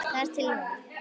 Þar til núna.